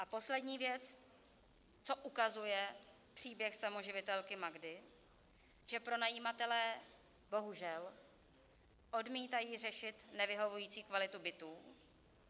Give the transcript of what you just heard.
A poslední věc, co ukazuje příběh samoživitelky Magdy, že pronajímatelé bohužel odmítají řešit nevyhovující kvalitu bytů.